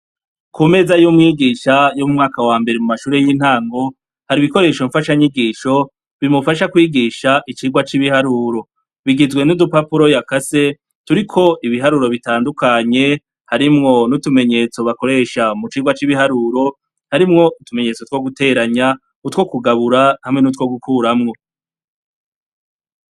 Kumeza y'umwigisha, y'umwaka wa mbere mu mashure y'intango, hari ibikoresho mfashanyigisho bimufasha kwigisha icirwa c'ibiharuro. Bigizwe n'udupapuro yakase turiko ibiharuro bitandukanye, harimwo n'utumenyetso bakoresha mu cirwa c'ibiharuro, harimwo utumenyetso two guteranya, utwo kugabura, hamwe n'utwo gukuramwo.